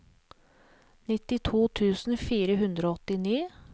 nittito tusen fire hundre og åttini